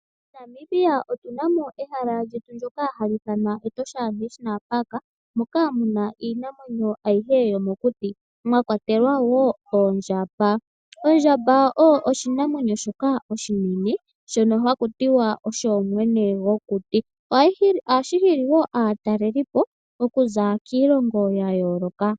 MoNamibia otunamo ehala lyetu ndyoka hali ithanwa Etosha National Park, moka muna iinamwenyo ayihe yomokuti, mwa kwatelwa wo oondjamba. Ondjamba oyo oshinamwenyo shoka oshinene, shono haku tiwa osho mwene gwokuti. Ohashi hili wo aatalelipo okuza kiilongo ya yooloka.